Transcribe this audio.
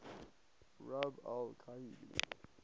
rub al khali